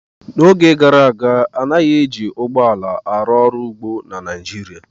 N' oge gara aga anaghị eji ụgbọ ala arụ ọrụ ugbo na Naịjirịa